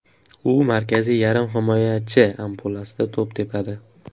U markaziy yarim himoyachi ampluasida to‘p tepadi.